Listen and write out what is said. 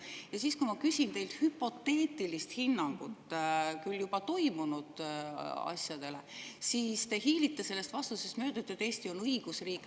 Aga siis, kui ma küsin teilt hüpoteetilist hinnangut küll juba toimunud asjadele, te hiilite vastusest mööda ja ütlete, et Eesti on õigusriik.